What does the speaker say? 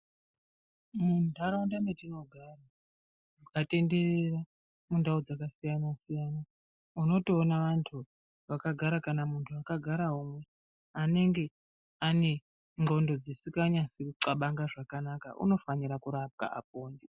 Munharaunda matinogara ukatenderera mundau dzakasiyana-siyana, unotoona vantu vakagara, kana muntu akagarawo anenge ane ndxondo dzisikanyasi kuxabanga zvakanaka. Unofanira kurapwa apone.